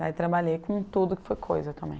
Daí trabalhei com tudo que foi coisa também.